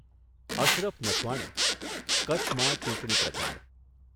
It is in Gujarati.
અશરફ નથવાણી, કચ્છમાં ચૂંટણી પ્રચાર